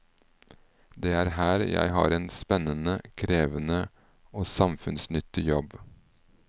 Det er her jeg har en spennende, krevende og samfunnsnyttig jobb.